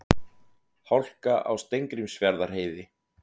Hálka á Steingrímsfjarðarheiði